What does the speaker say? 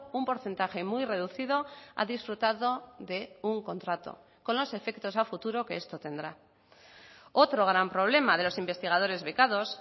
un porcentaje muy reducido ha disfrutado de un contrato con los efectos a futuro que esto tendrá otro gran problema de los investigadores becados